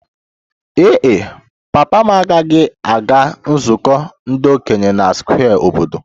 Ee e, papa m agaghị aga nzukọ ndị okenye na Square obodo